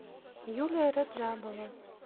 юлия раджабова